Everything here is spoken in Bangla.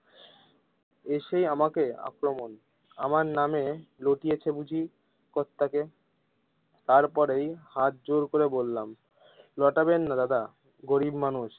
এসেই আমাকে আক্রমণ আমার নাম রটিয়েছে বুঝি কর্তাকে তার পরেই হাত জোর করে বললাম রোটাবেননা দাদা গরিব মানুষ।